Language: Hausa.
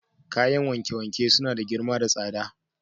Kayan wanke-wanke suna da girma da tsada.